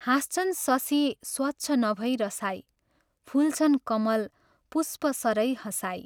हाँस्छन् शशी स्वच्छ नभै रसाई, फुल्छन् कमल पुष्पसरै हँसाई।